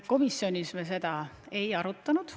Komisjonis me seda ei arutanud.